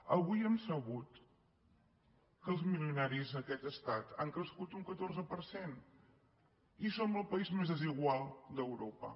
avui hem sabut que els milionaris en aquest estat han crescut un catorze per cent i som el país més desigual d’europa